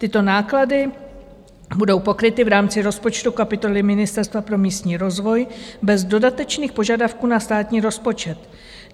Tyto náklady budou pokryty v rámci rozpočtu kapitoly Ministerstva pro místní rozvoj bez dodatečných požadavků na státní rozpočet.